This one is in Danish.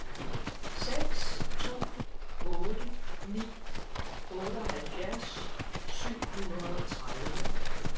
seks to otte ni otteoghalvfjerds syv hundrede og tredive